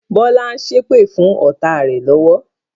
Bọlá ń ṣépè fún ọ́ta rẹ lọ́wọ́